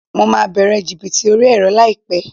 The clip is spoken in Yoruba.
Mo máa bẹ̀rẹ̀ jìbìtì orí ẹ̀rọ láìpẹ́